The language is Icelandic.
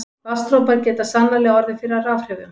Vatnsdropar geta sannarlega orðið fyrir rafhrifum.